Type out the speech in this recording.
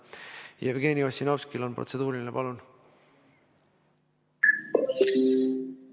Jevgeni Ossinovskil on protseduuriline, palun!